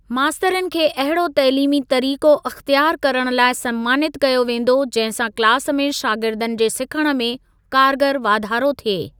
मास्तरनि खे अहिड़ो तइलीमी तरीक़ो अख़्तयार करण लाइ समानित कयो वेंदो, जंहिं सां क्लासु में शागिर्दनि जे सिखण में कारगर वाधारो थिए।